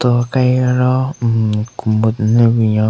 Ro aka hi aro hmm commode den le binyon.